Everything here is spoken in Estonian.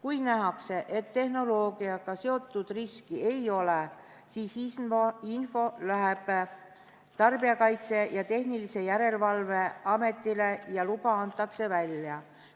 Kui nähakse, et tehnoloogiaga seotud riski ei ole, siis läheb info Tarbijakaitse ja Tehnilise Järelevalve Ametile ning luba antakse välja.